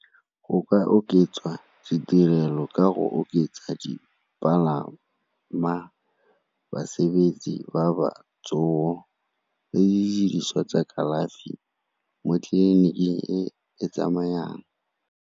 Go ka oketswa ditirelo ka go oketsa dipalama, basebetsi ba batsogo le didiriswa tsa kalafi mo tleliniking e e tsamayang.